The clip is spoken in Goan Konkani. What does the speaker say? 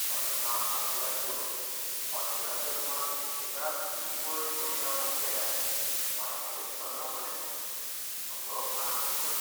थोडें काम आवियार करून हॉटेलाच्या रुमांत सुशेगाद फिल्म पळयत बशया म्हूण केल्यार वायफायच चलना मरे. सगळो प्लान फुकट!